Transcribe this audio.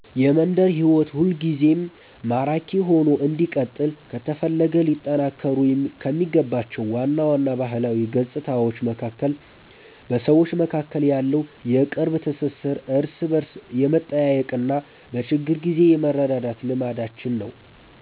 የመንደር ሕይወት ሁልጊዜም ማራኪ ሆኖ እንዲቀጥል ከተፈለገ ሊጠናከሩ ከሚገባቸው ዋና ዋና ባህላዊ ገጽታዎች መካከል በሰዎች መካከል ያለው የቅርብ ትሥሥር፣ እርስ በርስ የመጠያየቅና በችግር ጊዜ የመረዳዳት ልማዳችን ነው።